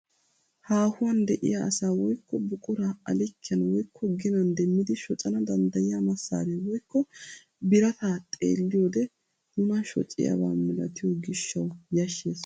Haahuwaan de'iyaa asaa woykko buquraa a likkiyaan woykko ginan demmidi shoccana danddiyiyaa masaree woykko birataa xeelliyoode nuna shoccaniyaaba milatiyo giishshawu yashshees.